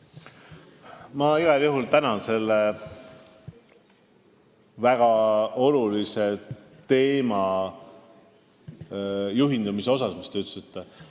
Ma igal juhul tänan sellele väga olulisele teemale tähelepanu juhtimise eest!